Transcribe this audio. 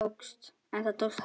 En það tókst Helen.